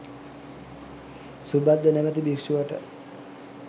සුභද්ද නමැති භික්‍ෂුවට